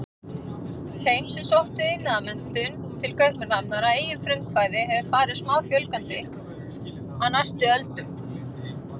Þeim sem sóttu iðnmenntun til Kaupmannahafnar að eigin frumkvæði hefur farið smáfjölgandi á næstu öldum.